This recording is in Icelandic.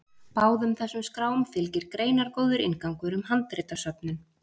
Báðum þessum skrám fylgir greinargóður inngangur um handritasöfnin.